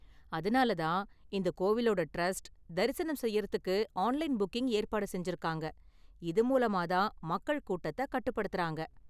அதனால தான் இந்த கோவிலோட டிரஸ்ட் தரிசனம் செய்யறதுக்கு ஆன்லைன் புக்கிங் ஏற்பாடு செஞ்சிருக்காங்க, இது மூலமா தான் மக்கள் கூட்டத்த கட்டுப்படுத்தறாங்க